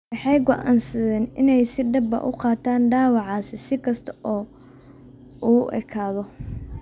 Waxay go'aansadeen inay si dhab ah u qaataan dhaawaciisa si kasta oo uu u ekaado.